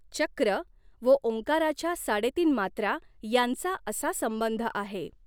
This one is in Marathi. चक्र व ॐकाराच्या साडेतीन मात्रा यांचा असा संबंध आहे.